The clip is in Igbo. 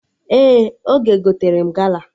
Ee, Oge gotere m gala